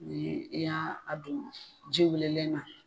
U ye i y'a a don ji wulelenna.